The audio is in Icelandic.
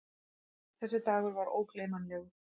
Þessi dagur var ógleymanlegur.